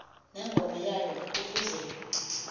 nengoma yayo ukuze